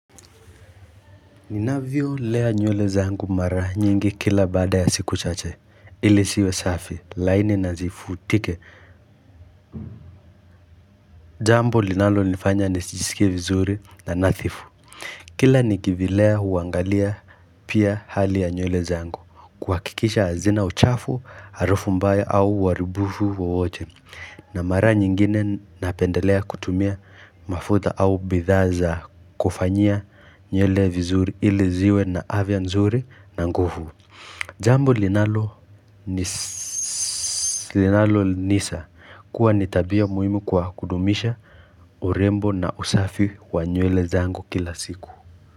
Ninavyolea nywele zangu mara nyingi kila baada ya siku chache ili ziwe safi laini na zivutike Jambo linalonifanya nijisikie vizuri na nadhifu Kila nikivilea huangalia pia hali ya nywele zangu kuhakikisha hazina uchafu harufu mbaya au uharibifu wowote na mara nyingine napendelea kutumia mafuta au bidhaa za kufanyia nywele vizuri ili ziwe na afya nzuri na nguvu. Jambu linalonisa kuwa ni tabia muhimu kwa kudumisha urembo na usafi wa nywele zangu kila siku.